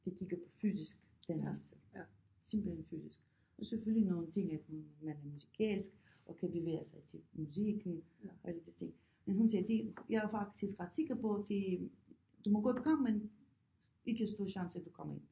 De kigge på fysisk den her simpelthen fysisk og selvfølgelig nogle ting at man er musikalsk og kan bevæge sig til musikken og alle de ting men hun sagde det jeg er faktisk ret sikker på det du må godt komme men ikke stor chance du komme ind